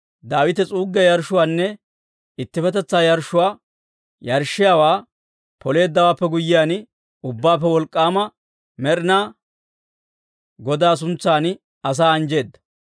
Daawite s'uuggiyaa yarshshuwaanne ittippetetsaa yarshshuwaa yarshshiyaawaa Poleeddawaappe guyyiyaan, ubbaappe Wolk'k'aama Med'inaa Godaa suntsan asaa anjjeedda.